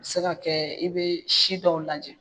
Se ka kɛɛ i bee si dɔw lajɛ